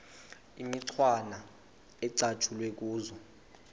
imicwana ecatshulwe kuzo